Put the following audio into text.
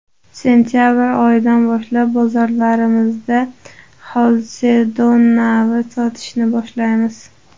Sentabr oyidan boshlab bozorlarimizda ‘xalsedon’ navini sotishni boshlaymiz.